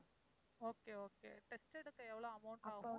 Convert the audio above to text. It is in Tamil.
okay, okay test எடுக்க எவ்ளோ amount ஆகும்?